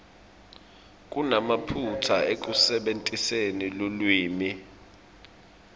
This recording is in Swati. kunemaphutsa ekusebentiseni lulwimi